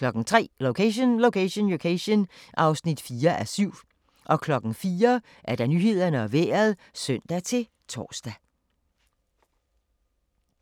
03:00: Location, Location, Location (4:7) 04:00: Nyhederne og Vejret (søn-tor)